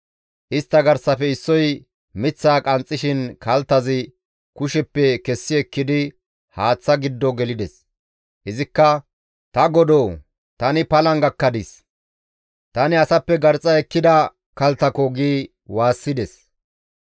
Istta garsafe issoy miththaa qanxxishin kalttazi kusheppe kessi ekkidi haaththa giddo gelides; izikka, «Ta godoo tani palan gakkadis! Tani asappe garxxa ekkida kalttako!» gi waassides.